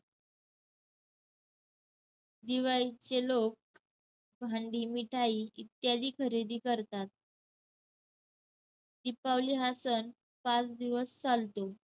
दिवाळीचे लोक हंडी, मिठाई इत्यादी खरेदी करतात. दीपावली हा सण पाच दिवस चालतो.